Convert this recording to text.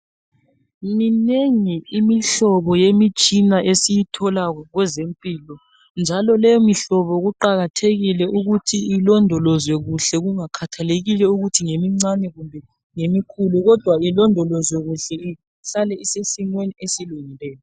Minengi imihlobo yemitshina esiyithola kwezempilo njalo leyo mihlobo kuqakathekile ukuthi ilondolozwe kuhle kungakhakhathalekile ukuthi ngemincane kumbe ngemikhulu kodwa ke ilondolozwe kuhle isale isesimweni esilungileyo.